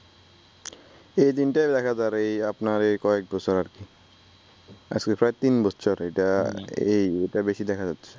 এই তিনটাই দেখা যাই এই আপনার এই কয়েক বছর আজকে প্রায় তিন বছর এইটা এই এইটা বেশি দেখা যাচ্ছে